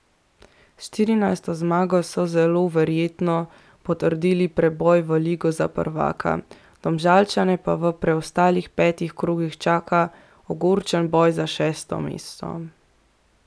S štirinajsto zmago so zelo verjetno potrdili preboj v Ligo za prvaka, Domžalčane pa v preostalih petih krogih čaka ogorčen boj za šesto mesto.